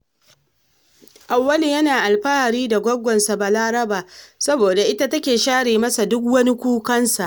Auwalu yana alfahari da gwaggonsa Balaraba, saboda ita take share masa duk wani kukansa